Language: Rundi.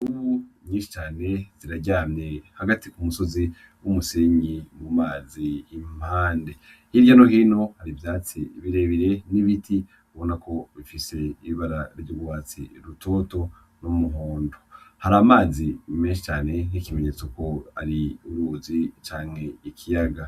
Imvubu nyinshi cane ziraryamye hagati ku musozi w’umusenyi mu mazi impande, hirya no hino hari ivyatsi birebire n’ibiti ubona ko bifise ibara ry’urwatsi rutoto n’umuhondo , har’amazi menshi cane nk’ikimenyetso ko ari uruzi canke ikiyaga.